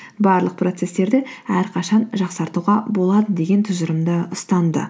барлық процесстерді әрқашан жақсартуға болады деген тұжырымды ұстанды